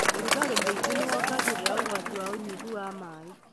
ũrugarĩ mũingĩ nĩwongagĩrĩra ũgwati wa ũnyihu wa maĩ